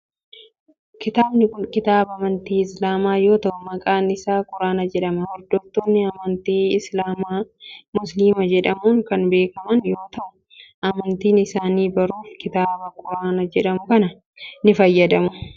Kitaabni kun kitaaba amantii islaamaa yoo ta'u maqaan isaa quraana jedhama. Hordoftoonni amantii islaamaa musliima jedhamun kan beekaman yoo ta'u amantii isaanii baruf kitaaba quraana jedhamu kana kan fayyadamani dha.